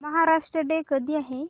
Maharashtra day कधी आहे